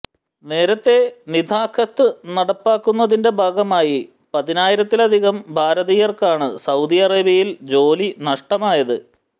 നേരത്തെ നിതാഖാത്ത് നടപ്പാക്കുന്നതിന്റെ ഭാഗമായി പതിനായിരത്തിലധികം ഭാരതീയർക്കാണ് സൌദി അറേബ്യയിൽ ജോലി നഷ്ടമായത്